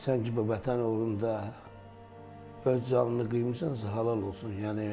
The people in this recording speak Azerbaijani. Sən ki, bu Vətən uğrunda öz canını qıymısansa, halal olsun.